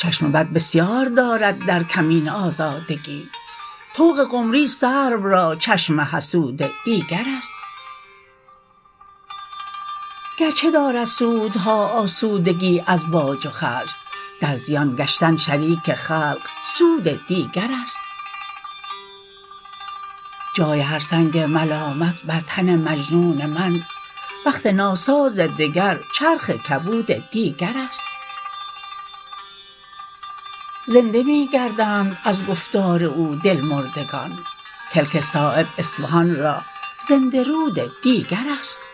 چشم بد بسیار دارد در کمین آزادگی طوق قمری سرو را چشم حسود دیگرست گرچه دارد سودها آسودگی از باج و خرج در زیان گشتن شریک خلق سود دیگرست جای هر سنگ ملامت بر تن مجنون من بخت ناساز دگر چرخ کبود دیگرست زنده می گردند از گفتار او دلمردگان کلک صایب اصفهان را زنده رود دیگرست